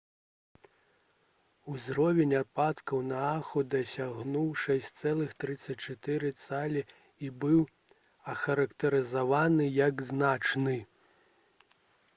узровень ападкаў на ааху дасягнуў 6,34 цалі і быў ахарактарызаваны як «значны»